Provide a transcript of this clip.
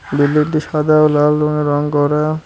বিল্ডিংটি সাদা ও লাল রঙে রং করা।